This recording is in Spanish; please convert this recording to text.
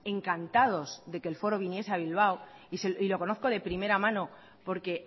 encantados de que el foro viniese a bilbao y lo conozco de primera mano porque